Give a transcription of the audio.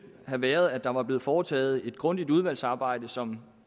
have været at der var blevet foretaget et grundigt udvalgsarbejde som